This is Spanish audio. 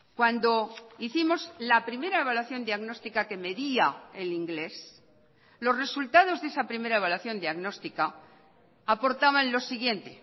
cuando hicimos la primera evaluación diagnóstica que medía el inglés los resultados de esa primera evaluación diagnóstica aportaban lo siguiente